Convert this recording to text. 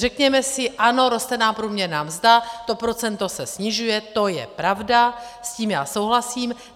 Řekněme si ano, roste nám průměrná mzda, to procento se snižuje, to je pravda, s tím já souhlasím.